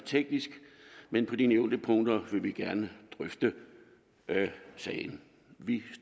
teknisk men på de nævnte punkter vil vi gerne drøfte sagen vi